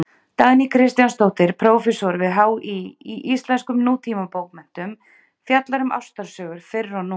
Dagný Kristjánsdóttir, prófessor við HÍ í íslenskum nútímabókmenntum, fjallar um ástarsögur fyrr og nú.